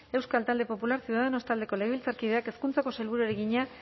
euskal talde popularra ciudadanos taldeko legebiltzarkideak hezkuntzako sailburuari egina